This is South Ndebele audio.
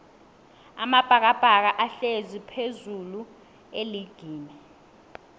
amabhakabhaka ahlezi phezullu eligini